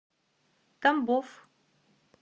тамбов